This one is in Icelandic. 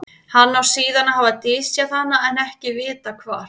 hann á síðan að hafa dysjað hana en ekki er vitað hvar